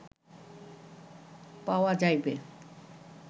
পাওয়া যাইবে